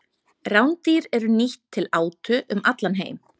Rándýr eru nýtt til átu um allan heim.